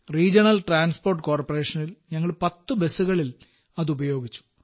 regional transport കോർപ്പറേഷനിൽ ഞങ്ങൾ പത്ത് ബസ്സുകളിൽ അത് ഉപയോഗിച്ചു